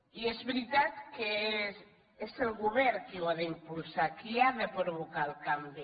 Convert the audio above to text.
i és veritat que és el govern qui ho ha d’impulsar qui ha de provocar el canvi